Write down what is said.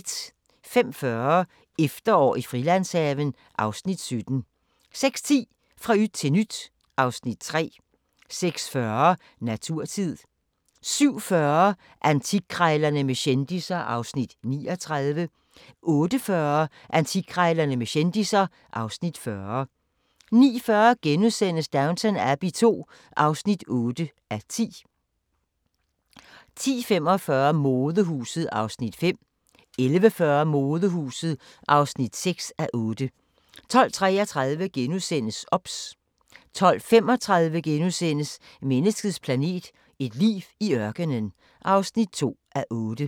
05:40: Efterår i Frilandshaven (Afs. 17) 06:10: Fra yt til nyt (Afs. 3) 06:40: Naturtid 07:40: Antikkrejlerne med kendisser (Afs. 39) 08:40: Antikkrejlerne med kendisser (Afs. 40) 09:40: Downton Abbey II (8:10)* 10:45: Modehuset (5:8) 11:40: Modehuset (6:8) 12:33: OBS * 12:35: Menneskets planet – et liv i ørkenen (2:8)*